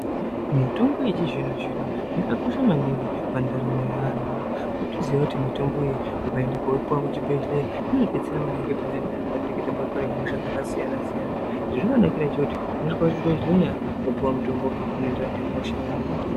Mitombo yechizvino zvino yakakosha maningi pandaramo yeanhu. Unotoziya kuti mitombo iyi ukaenda koipiwa kuchibhedhleya inobetsera maningi payani patinenge tabatwa nehosha dzakasiyana siyana. Zvezvinonakira ngechekuti unosvika kuchibhedhleya wopiwa mitombo unoenderana nehosha yaunenge wabatwa.